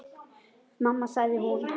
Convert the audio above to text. Mamma sagði hún.